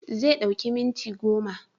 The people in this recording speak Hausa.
Zai ɗauki minti goma